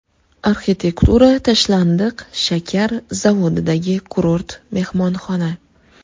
Arxitektura: Tashlandiq shakar zavodidagi kurort mehmonxona .